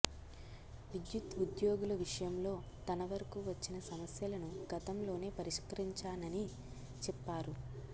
విద్యుత్ ఉద్యోగుల విషయంలో తన వరకు వచ్చిన సమస్యలను గతంలోనే పరిష్కరించానని చెప్పారు